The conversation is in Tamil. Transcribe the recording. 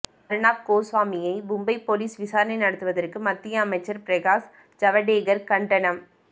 அர்னாப் கோஸ்வாமியை மும்பை போலீஸ் விசாரணை நடத்துவதற்கு மத்திய அமைச்சர் பிரகாஷ் ஜவடேகர் கண்டனம்